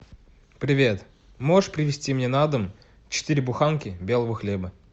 привет можешь привезти мне на дом четыре буханки белого хлеба